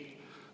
Ei.